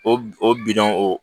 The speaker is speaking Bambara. O b o bi dɔn o